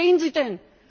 Wo stehen sie denn?